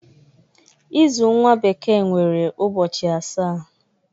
Izu nwa bekee nwere ụbọchị asaa.